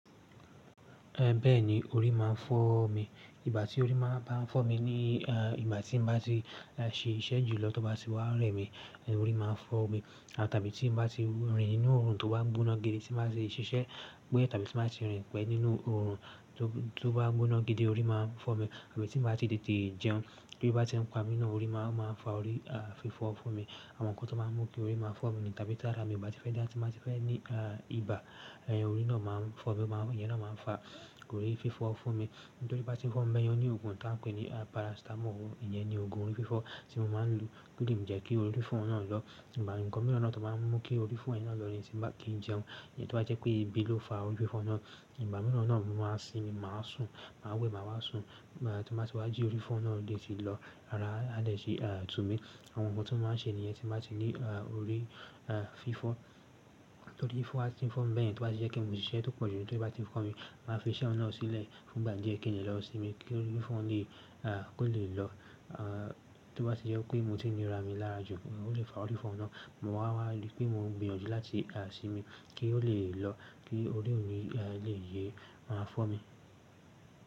Ẹ̀ bẹ́ẹ̀ni, orí máa ń fọ́ mi. Ìgbà tí orí máa bá ń fọ́ mi ni, eh, ìgbà tí n bá ti ṣe iṣẹ́ jùlọ tó bá ti wá rẹ̀ mí, orí máa ń fọ́ mi. Tàbí tí mo bá ti rìn ínú oòrùn tó bá ń gbóná gidi tí mo bá ṣe ṣiṣẹ́, bóyá tí mo bá ti rìn pẹ́ nínú oòrùn tó bá ń gbóná gidi orí máa ń fọ́ mi. Tàbí tí mi bá ti tètè jẹun tí ebi bá ń pa mi, ó ma ń fa orí fífọ́ fún mi àwọn nǹkan tó máa ń mú kí orí máa ń fọ́ mi ni tàbí tàrá mi bá ti fẹ́ dá, tí mo bá ti fẹ́ ní, a, ibà, ẹ̀ orí náà máa ń fọ́ mi, máa ń, ìyẹn náà máa ń fa orí fífọ́ fún mi. Nítorí bí bá ti ń fọ́ mi bẹ́ẹ̀ ni ó ní ògùn tí wọ́n ń pè ní, a, paracetamol. Ìyẹn ni ògùn orí fífọ́ tí mo máa ń lo kí ò lè jẹ́ kí orí fífọ́ náà lọ́. Ìbá ǹkan mìíràn náà tó máa ń mú kí orí fífọ́ ẹ̀ náà lọ́ ni tí mo bá kí ń jẹun. Ìyẹn tó bá jẹ́ pé ebi ló fa orí fífọ́ náà. Ìbá mìíràn náà mo máa ń ṣe ni màá sùn, màá wẹ̀ màá wá sùn. Tí mo bá ti wá jí orí fífọ́ náà lè ti lọ́. Árá á lè ṣe, a, tú mi. Òun tí mo ma ń ṣe nìyẹn tí mo bati ní orí fífọ́ torí fífọ́ bá ti ń fọ́ mi bẹ́yẹ̀n tí ó bá jẹ́ kí n mú siṣẹ́ tó pọ̀ jù ló tó bá ti fọ́ mi, màá fi iṣẹ́ náà sílẹ̀ fún ìgbà díẹ̀ kí n lẹ̀ lọ́ sí mi kí orí fífọ́ náà lè, a, kó lè lọ́. A, tó bá ti jẹ́ pé motínira mi lára jù ó lè fa orí fífọ́ náà. Mo máa wá ri pé mo ń gbìyànjú láti, a, ṣi mi kí ó lè lọ́ kí orí mii, a, lè yé máa fọ́ mi.